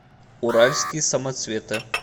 уральские самоцветы